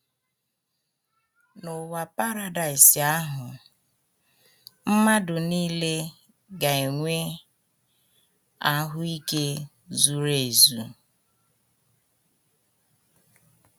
N’ụwa Paradaịs ahụ, mmadụ nile ga - enwe ahụ́ ike zuru ezu